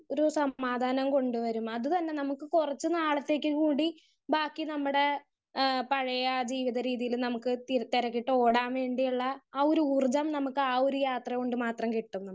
Speaker 1 ഒരു സമാധാനം കൊണ്ട് വരും അതും അല്ല നമുക്ക് കുറച്ചു നാളത്തേക്ക് കൂടി ബാക്കി നമ്മുടെ ഏഹ് പഴയ ജീവിത രീതിയില് നമുക്ക് തിരിച്ചറിഞ്ഞിട്ട് ഓടാൻ വേണ്ടിയല്ല. ആഹ് ഒരു ഊർജ്ജം നമുക്ക് ആ ഒരു യാത്ര കൊണ്ട് മാത്രേ കിട്ടൊള്ളൂ.